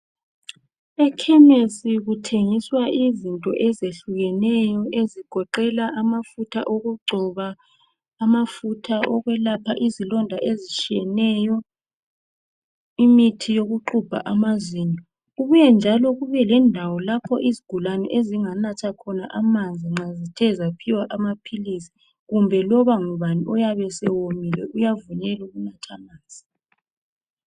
ekhemesi kuthengiswa izinto ezehlukeneyo ezigoqela amafutha okugcoba amafutha okwelapha izilonda ezitshiyeneyo imithi yokugxubha amazinyo kubuye njalo kube lendawo izigulane ezinganathakhona amanzi nxa zithe zaphiwa amaphilisi kumbe loba ngubani oyabe esewomile uyavunyelwa ukunatha amanzi